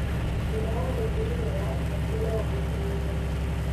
Thĩna wa gwĩthugumĩra kaingĩ no ũgirĩrĩrio